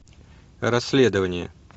расследование